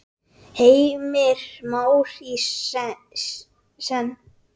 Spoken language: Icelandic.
Heimir Már: Í senn?